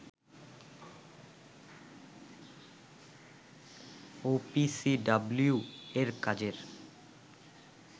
ওপিসিডাব্লিউ-র কাজে